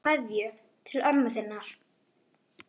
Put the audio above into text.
Skilaðu kveðju til ömmu þinnar.